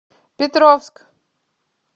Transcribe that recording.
петровск